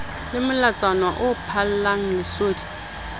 le molatswana o phallang lesodi